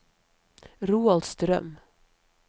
Roald Strøm